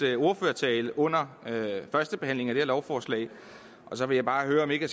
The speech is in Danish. ordførertale under førstebehandlingen af det her lovforslag så vil jeg bare høre om ikke